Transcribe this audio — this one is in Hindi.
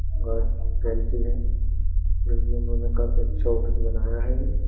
गल गलती है जोकि इन्होंने काफी अच्छा ऑफिस बनाया है ये।